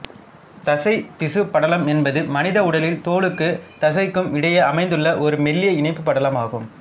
தசைதிசுப்படலம் என்பது மனித உடலில் தோலுக்கு தசைக்கும் இடையே அமைந்துள்ள ஒரு மெல்லிய இணைப்பு படலம் ஆகும்